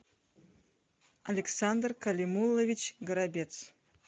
александр калимулович горобец